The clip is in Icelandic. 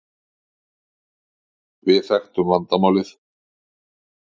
Við þekktum vandamálið.